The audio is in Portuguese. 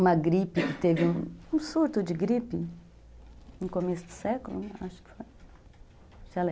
Uma gripe, teve um surto de gripe no começo do século, acho que foi.